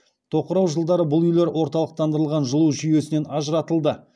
тоқырау жылдары бұл үйлер орталықтандырылған жылу жүйесінен ажыратылды